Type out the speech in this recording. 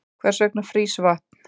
Hvers vegna frýs vatn?